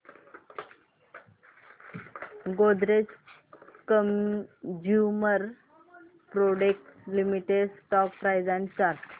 Godrej consumer products limited stock price and chart